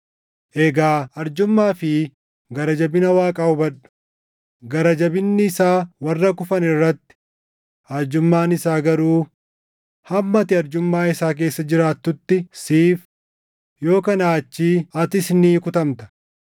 Egaa arjummaa fi gara jabina Waaqaa hubadhu: gara jabinni isaa warra kufan irratti; arjummaan isaa garuu hamma ati arjummaa isaa keessa jiraattutti siif; yoo kanaa achii atis ni kutamta.